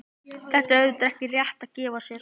Þetta er auðvitað ekki rétt að gefa sér.